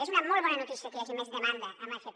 és una molt bona notícia que hi hagi més demanda en l’fp